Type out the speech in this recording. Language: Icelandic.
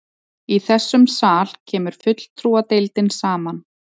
Í þessum sal kemur fulltrúadeildin saman.